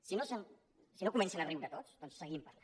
si no comencen a riure tots doncs en seguim parlant